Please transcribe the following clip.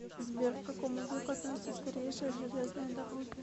сбер к какому веку относятся старейшие железные дороги